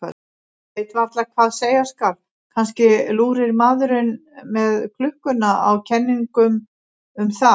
Ég veit varla hvað skal segja, kannski lúrir maðurinn með klukkuna á kenningum um það.